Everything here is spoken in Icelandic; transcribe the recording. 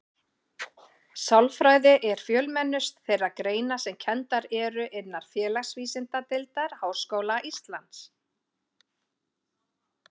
Sálfræði er fjölmennust þeirra greina sem kenndar eru innan Félagsvísindadeildar Háskóla Íslands.